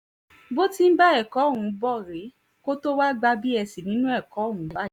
bó ti ń bá ẹ̀kọ́ ọ̀hún bọ̀ rèé kó tóo wáá gba bsc nínú ẹ̀kọ́ ọ̀hún